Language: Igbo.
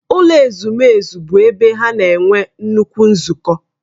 Ụlọ ezumezu bụ ebe ha na-enwe nnukwu nzukọ.